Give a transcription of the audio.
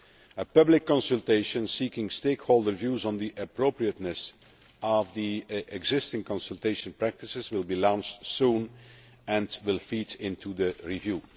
A public consultation seeking stakeholder views on the appropriateness of the existing consultation practices will be launched soon and will feed into the review.